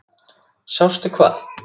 Sástu hvað?